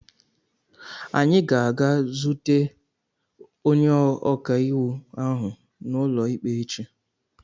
Anyị ga-aga zute onye ọka iwu ahụ n'ụlọikpe echi.